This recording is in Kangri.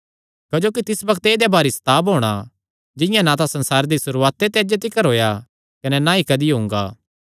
क्जोकि तिस बग्त ऐदेया भारी सताव होणा जिंआं ना तां संसार दी सुरुआत ते अज्जे तिकर होएया कने ना ई कदी हुंगा